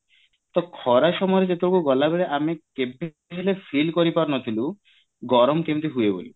ତା ଖରା ସମୟରେ ସେତେବେଳେ ଗଲା ବେଳେ ଆମେ କେବେ ହେଲେ feel କରିପାରୁନଥିଲୁ ଗରମ କେମିତି ହୁଏ ବୋଲି